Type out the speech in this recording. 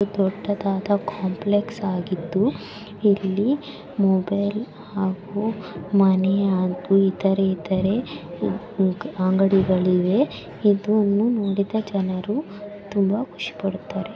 ಇದು ದೊಡ್ಡದಾದ ಕಾಂಪ್ಲೆಕ್ಸ್ ಆಗಿದ್ದು ಇಲ್ಲಿ ಮೊಬೈಲ್ ಹಾಗೂ ಮನೆಯ ಹಾಗೂ ಇತರೆ ಇತರೆ ಅಂಗಡಿ ಗಳಿವೆ ಇದು ನೋಡಿದ ಜನರು ತುಂಬಾ ಖುಷಿ ಪಡುತಾರೆ.